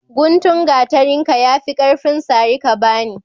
Guntun gatarin ka ya fi karfin sare ka bane